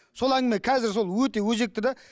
сол әңгіме қазір сол өте өзекті де